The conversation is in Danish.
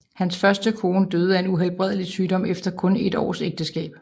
Hans første kone døde af en uhelbredelig sygdom efter kun et års ægteskab